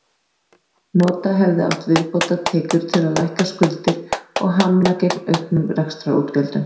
Nota hefði átt viðbótartekjur til að lækka skuldir og hamla gegn auknum rekstrarútgjöldum.